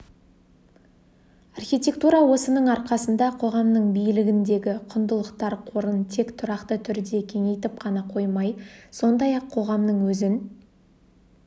архитектура осының арқасында қоғамның билігіндегі құндылықтар қорын тек тұрақты түрде кеңейтіп қана қоймай сондай-ақ қоғамның өзін